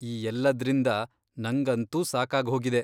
ಈ ಎಲ್ಲದ್ರಿಂದ ನಂಗಂತೂ ಸಾಕಾಗ್ಹೋಗಿದೆ.